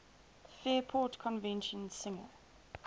fairport convention singer